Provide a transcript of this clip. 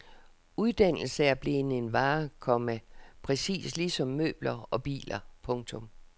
Uddannelse er blevet en vare, komma præcis ligesom møbler og biler. punktum